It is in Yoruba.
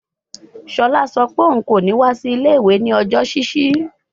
Shola sọ pe oun ko ni wa si ile-iwe ni ọjọ ṣiṣi